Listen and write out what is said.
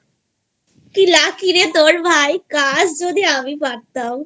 কি lucky রে তোর ভাই? lang:Hinकाशlang:Hin যদি আমি পারতামI